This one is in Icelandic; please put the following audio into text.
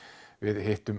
við hittum